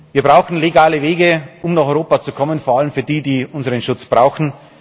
Wir brauchen legale Wege für die, die nach Europa kommen, vor allem für die, die unseren Schutz brauchen.